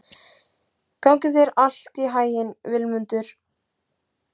Gangi þér allt í haginn, Vilmundur.